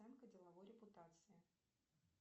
оценка деловой репутации